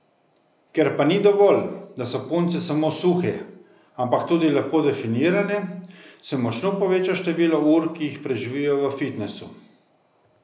Ker pa ni dovolj, da so punce samo suhe, ampak tudi lepo definirane, se močno poveča število ur, ki jih preživijo v fitnesu.